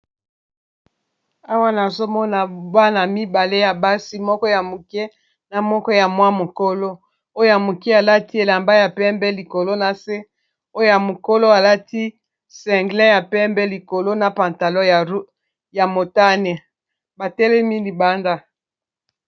Awa nazomona bana mibale ya basi moko ya moke na moko ya mwa mokolo oyo ya moke alati elamba ya pembe likolo na se oya mokolo alati single ya pembe likolo na pantalon ya motane batelemi libanda.